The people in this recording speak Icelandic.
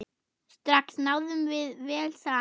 Strax náðum við vel saman.